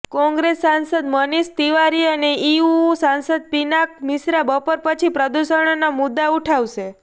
કોંગ્રેસ સાંસદ મનીષ તિવારી અને ઇઉંઉ સાંસદ પિનાક મિશ્રા બપોર પછી પ્રદુષણનો મુદ્દો ઉઠાવશે